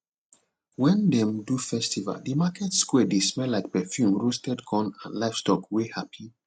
wen dem do festival the market square dey smell like perfume roasted corn and livestock wey happy